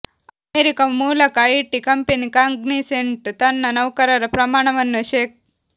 America ಮೂಲಕ IT company Cognizant ತನ್ನ ನೌಕರರ ಪ್ರಮಾಣವನ್ನು ಶೇ